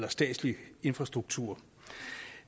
én statslig infrastruktur